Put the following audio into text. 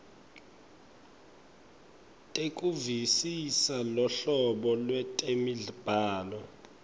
tekuvisisa luhlobo lwetemibhalo